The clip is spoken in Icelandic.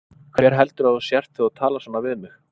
Hver heldurðu að þú sért þegar þú talar svona við mig?